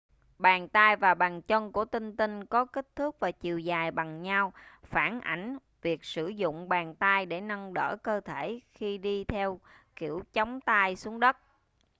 bàn tay và bàn chân của tinh tinh có kích thước và chiều dài bằng nhau phản ảnh việc sử dụng bàn tay để nâng đỡ cơ thể khi đi theo kiểu chống tay xuống đất